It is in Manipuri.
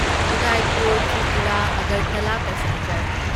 ꯎꯗꯥꯢꯄꯨꯔ ꯇ꯭ꯔꯤꯄꯨꯔꯥ ꯑꯒꯔꯇꯥꯂꯥ ꯄꯦꯁꯦꯟꯖꯔ